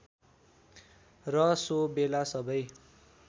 र सो बेला सबै